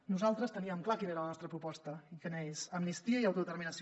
nosaltres teníem clar quina era la nostra proposta i quina és amnistia i autodeterminació